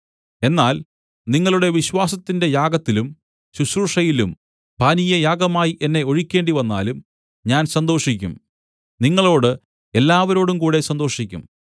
എന്നാൽ നിങ്ങളുടെ വിശ്വാസത്തിന്റെ യാഗത്തിലും ശുശ്രൂഷയിലും പാനീയയാഗമായി എന്നെ ഒഴിക്കേണ്ടിവന്നാലും ഞാൻ സന്തോഷിക്കും നിങ്ങളോട് എല്ലാവരോടുംകൂടെ സന്തോഷിക്കും